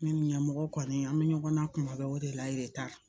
Ne ni ɲanmɔgɔw kɔni an bɛ ɲɔgɔn na kuma bɛɛ o de la yɛrɛ de t'a la